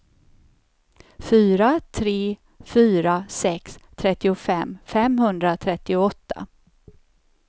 fyra tre fyra sex trettiofem femhundratrettioåtta